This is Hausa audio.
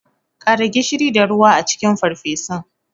Kara gishiri da ruwa a cikin farfesun.